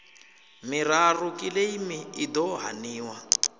miraru kiḽeimi i ḓo haniwa